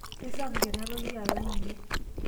keisapuk ena toki alang iyie